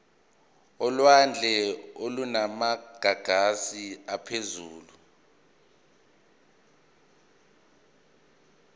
olwandle olunamagagasi aphezulu